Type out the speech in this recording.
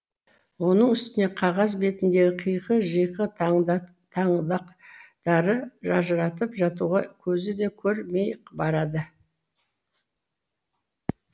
оның үстіне қағаз бетіндегі қиқы жиқы таңбақтары ажыратып жатуға көзі де көрмей барады